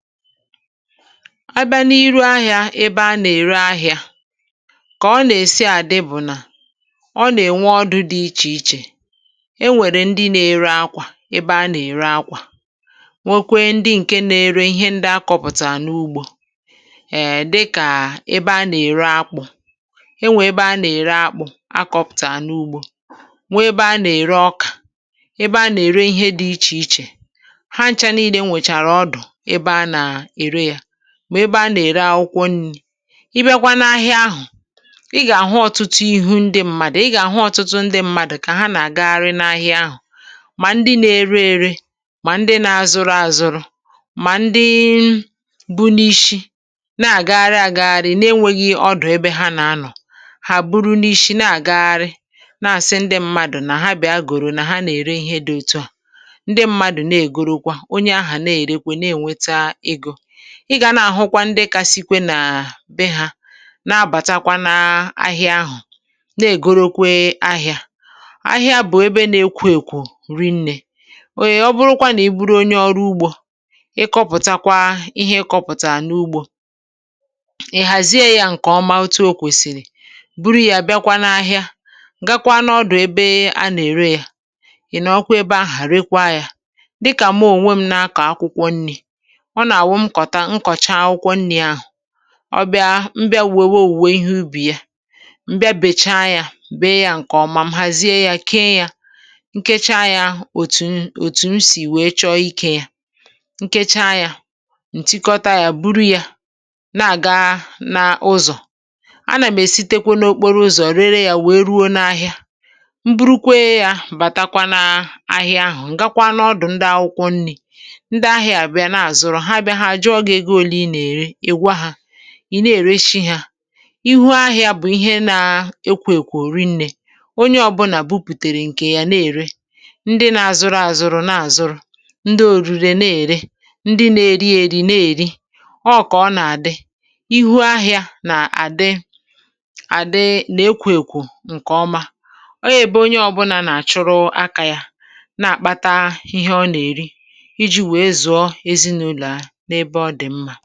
Bịa n’ahịa, ebe a nà-ère ihe. Ọ̀ bụ̀ ebe na-adị ndụ mgbe niile n’ihi na e nwere ọdụ̀ dị iche iche. E nwere ndị na-ere àkwà, ebe a na-egosi àkwà. E nwekwara ndị na-ere ihe ndị e kpụ̀tàrà n’ugbò. E nwekwara ndị na-ere akpụ̀, ebe a na-egosi akpụ̀ mgbe e wepụtara ha n’ugbò. Ọ̀ bụ̀kwa ebe e ji ere ọkà, na ebe ọzọ e ji ere ihe dị iche iche, na ọbụna ebe e ji ere akwụkwọ nri. Mgbe ị bịàrà n’ahịa ahụ, ị gà-ahụ ọtụtụ ihu, ị gà-ahụ ọtụtụ ndị mmadụ̀ na-agagharị n’ahịa ahụ ndị na-ere na ndị na-azụrụ, na ndị na-agagharị na-enweghị ọdụ̀. Ha na-agagharị ebe a na ebe ahụ, um na-asị na ha na-ere ihe. Ndị mmadụ̀ na-agagharị, na-akpọku ndị ọzọ ka ha bịà zụta ihe ha na-ere. Ị gà-ahụkwa na ndị kacha kwụ̀siri ike n’ahịa ahụ nwere ọdụ̀ ha, ebe ha nà-egosipụta ma na-ere ihe ha. Ahịa bụ ebe jupụtara n’okwu, jupụtara n’olu ukwu. Ọ bụrụ na ị bụ onye ọrụ ugbò, ị̀ na-akpụ̀tà ihe gị n’ugbò, na-ahazi ya nke ọma, ma buo ya n’ahịa. Mgbe ahụ ị ga-aga n’ebe a na-ere ụdị ihe ahụ, ị̀ nọ̀ ebe ahụ̀ na-ere ya. Dịka ọmụmaatụ, m onwe m kpụ̀tàrà ihe ubi m, sachaa ya, hazie ya nke ọma, kee ya n’òtù òtù. M haziri ya, kèe ya, ka m wee nwee ike tụọ ya ma ree ya nke ọma. M buru ya n’okporo ụzọ, kụ̀ọrọ ya, ruo n’ahịa. Mgbe m bịara n’ahịa ahụ, m gàrà n’ebe a na-ere akwụkwọ nri, ndị na-azụ bịara ree ya. Ndị na-azụ bụ ndị na-èrí, ndị na-ere bụ ndị na-ere ahịa, na ndị na-eri bụ ndị na-eri nri. N’ụzọ dị otú a, ahịa bụ ebe na-adị ndụ mgbe niile, jupụtara n’okwu na ọrụ. Onye ọ bụla na-arụ ọrụ aka ya, ma nke a na-enye ha ihe ha nà-èrí na ihe ha nà-ebi na ya.